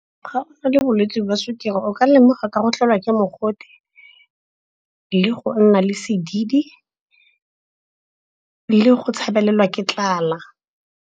Ga o na le bolwetse jwa sukiri bo ka lemogwa ka go tlelwa ke mogote, le go nna le sedidi, le go tshabelelwe ke tlala.